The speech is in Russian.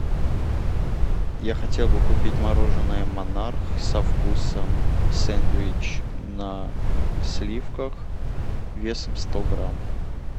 я хотел бы купить мороженое монарх со вкусом сэндвич на сливках весом сто грамм